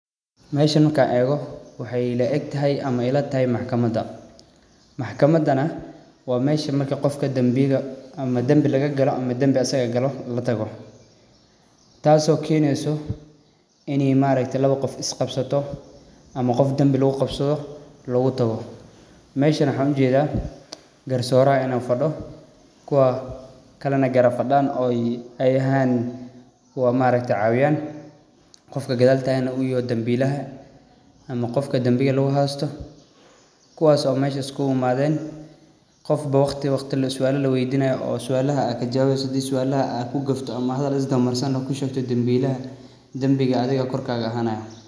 Meshan markan ego, waxay ilaegtexay ama ilataxay maxkamada, maxkamada wa mesha marki gofka dambiga ama dambi lagagalo ama dambi asaga galoo latago, taaso keneyso ini maarakte lawa gof iskugabsato ama gof dambi lagugabsado utago, meshan waxan ujeda qarsoraha inu fado kuwa kale na garab fadan oo xayan kuwa maarakte cawiyan, gofka qadal tagan nah u yaxay gofka dambilaha, ama gofka dambiga laguxaysto, kuwas oo mesh iskulaimaden, gofbo wagti wagti suala lawey dinayo oo suala aad kajawaweyso hadii suala aad kajwawi wauso ama xadal aad isdawa mariso amise aad kushegtid danbillaha, dambiga adhig korkada axanaya.